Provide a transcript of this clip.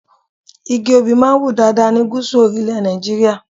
Igi Obì máa ń wù dáadáa ní Gúsù orílẹ̀ Nàìjíríà.